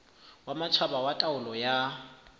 wa matjhaba wa taolo ya